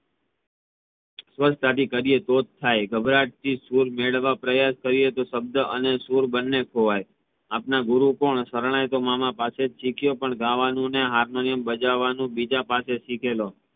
સ્વર થાડી કરીયે તોજ થઇ ઘબરાહત થી સુર મેળાવનો પ્રયાસ કરીયે તો શબ્દ અને સુર બેવ ખોવાઈ આપણા ગુરુ કોણ? શરણાઈ તો મામા પાસેજ શીખ્યો પણ ગાવાનુ અને હાર્મોનિયમ ભજવાનું બીજા પાસે શીખ્યો